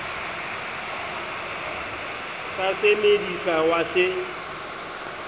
sa se medisa wa se